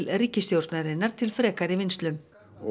ríkisstjórnarinnar til frekari vinnslu